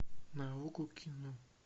на окко кино